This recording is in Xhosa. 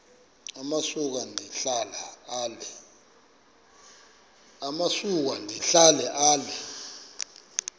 amasuka ndihlala ale